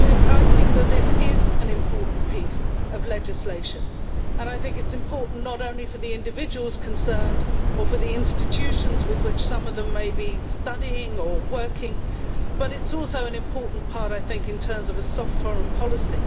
I think this is an important piece of legislation, and I think it is important not only for the individuals concerned or for the institutions with which some of them may be studying or working, but it is also an important part of a soft foreign policy.